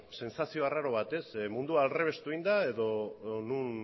sentsazio arraro bat mundua aldrebestu egin da edo non